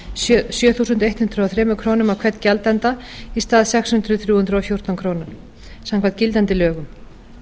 sjö þúsund hundrað og þrjár krónur á hvern gjaldanda í stað sex þúsund þrjú hundruð og fjórtán króna samkvæmt gildandi lögum